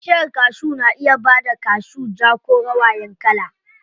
Bishiyar kashu na iya bada kashu ja ko rawayan kala.